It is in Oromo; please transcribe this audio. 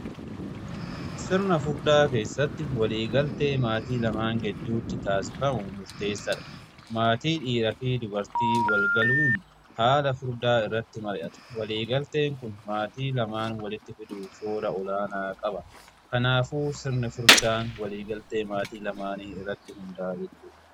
sirna furdaa keessatti waliigaltee maatii lamaan gidduutti taasifamu murteessadha. Maatii dhiiraa fi dubartiin waliigaluun haala furdaa irratti mari'ata. Waliigalteen kun maatii lamaan walitti fiduu shoora olaanaa qaba. Kanaafuu sirni furdaan waliigaltee maatii lamaanii irratti hundaa'a.